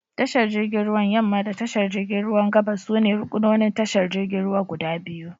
Tashar jirgin ruwan yamma da tashar jirgin ruwan gabas sune ruƙunonin tashar jirgin ruwa guda biyu.